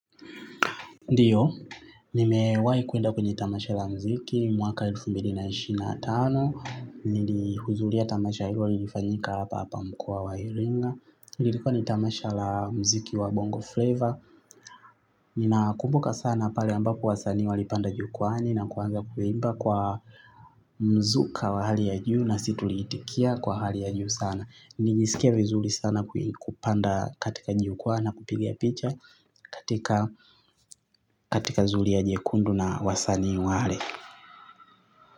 Ndio, nimewahi kwenda kwenye tamasha la muziki mwaka wa elfu mbili na ishirini na tano. Nilihudhuria tamasha hilo lilifanyika hapa hapa mkoa wa iringa. Lilikuwa ni tamasha la muziki wa bongo flavor. Ninakumbuka sana pale ambapo wasanii walipanda jukwani na kuanza kuimba kwa mzuka wa hali ya juu nasi tuliitikia kwa hali ya juu sana. Nilisikia vizuri sana kupanda katika jukwaa na kupigia picha. Katika zulia jekundu na wasani wale.